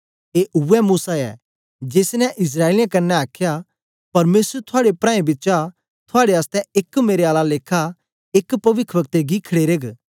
ए उवै मूसा ऐ जेसनें इस्राएलियें कन्ने आखया परमेसर थुआड़े प्राऐं बिचा थुआड़े आसतै एक मेरे आला लेखा एक पविखवक्ते गी खड़ेरग